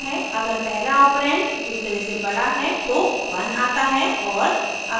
अगर पहला ऑपरेंड दूसरे से बड़ा है तो 1 आता है और